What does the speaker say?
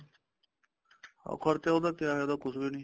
ਖਰਚਾ ਉਹਦਾ ਕਿਆ ਹੈ ਉਹ ਤਾਂ ਕੁੱਛ ਵੀ ਨੀ